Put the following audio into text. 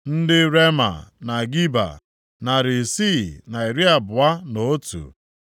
ndị Rema na Geba, narị isii na iri abụọ na otu (621),